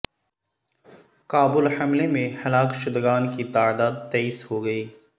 کابل حملے میں ہلاک شدگان کی تعداد تیئس ہو گئی